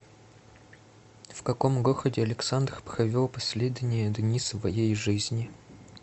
в каком городе александр провел последние дни своей жизни